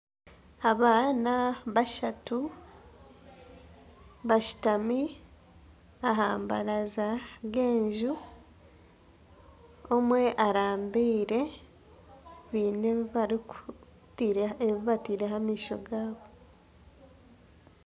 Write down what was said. Abaana bashatu bashutami aha baraza y'enju omwe arambire biine ebibataireho amaisho gaabo.